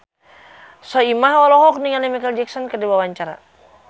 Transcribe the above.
Soimah olohok ningali Micheal Jackson keur diwawancara